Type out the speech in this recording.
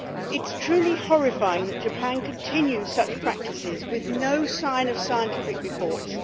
It is truly horrifying that Japan continues such practices with no sign of scientific reports